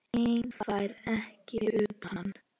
Einn færi hann ekki utan.